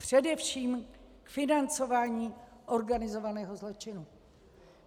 Především k financování organizovaného zločinu.